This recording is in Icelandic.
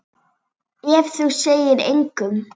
Ef þú segir engum.